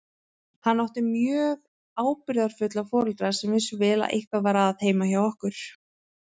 Hann átti mjög ábyrgðarfulla foreldra sem vissu vel að eitthvað var að heima hjá okkur.